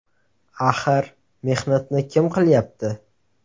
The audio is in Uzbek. Axir mehnatni kim qilyapti.